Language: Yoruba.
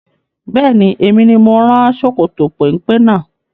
Bẹ́ẹ̀ni, Emi ni mo rán ṣòkòtò péńpé náà